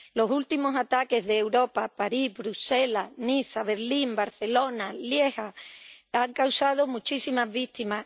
Los últimos ataques de Europa —París, Bruselas, Niza, Berlín, Barcelona, Lieja— han causado muchísimas víctimas.